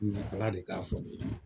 Ala de ka fɔ ne ye.